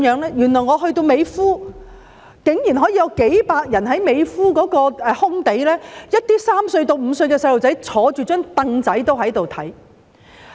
我甚至曾在美孚看到有數百人聚集在空地，連3歲、5歲的小童也坐在小櫈子上觀看。